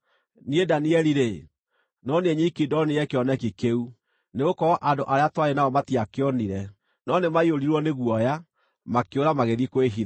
Niĩ Danieli-rĩ, no niĩ nyiki ndonire kĩoneki kĩu; nĩgũkorwo andũ arĩa twarĩ nao matiakĩonire, no nĩmaiyũrirwo nĩ guoya, makĩũra magĩthiĩ kwĩhitha.